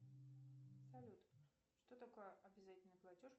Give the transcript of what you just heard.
салют что такое обязательный платеж